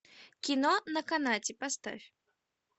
кино на канате поставь